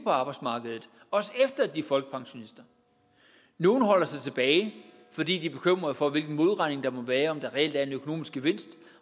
arbejdsmarkedet også efter at de folkepensionister nogle holder sig tilbage fordi de er bekymrede for hvilken modregning der vil være om der reelt er en økonomisk gevinst